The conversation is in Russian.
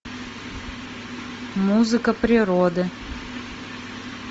музыка природы